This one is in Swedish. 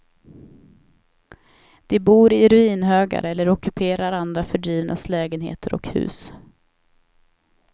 De bor i ruinhögar eller ockuperar andra fördrivnas lägenheter och hus.